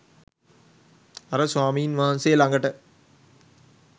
අර ස්වාමීන් වහන්සේ ළඟට